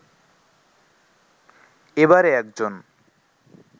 এবারে একজন